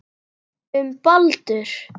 Um Baldur.